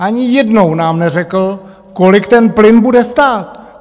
Ani jednou nám neřekl, kolik ten plyn bude stát.